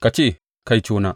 Ka ce, Kaitona!